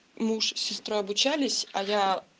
муж сестра обучались а я